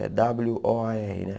É dáblio ó á erre, né?